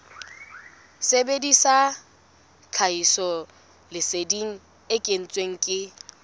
sebedisa tlhahisoleseding e kentsweng ke